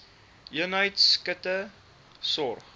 eenheid akute sorg